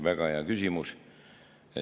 Väga hea küsimus.